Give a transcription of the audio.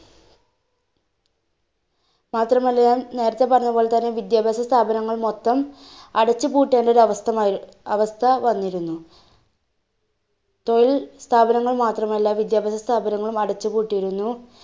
മാത്രമല്ല ഞാൻ നേരത്തെ പറഞ്ഞത്പോലെതന്നെ വിദ്യാഭ്യാസസ്ഥാപനങ്ങൾ മൊത്തം അടച്ചുപൂട്ടേണ്ട ഒരു അവസ്ഥ മയ്~ അവസ്ഥ വന്നിരുന്നു. തൊഴിൽ സ്ഥാപനങ്ങൾ മാത്രമല്ല വിദ്യാഭ്യാസ സ്ഥാപനങ്ങളും അടച്ചു പൂട്ടിയിരുന്നു.